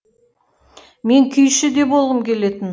мен күйші де болғым келетін